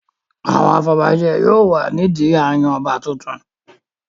Àwọn afọbajẹ yóò wà nídi a n yan àwọn ọba tuntun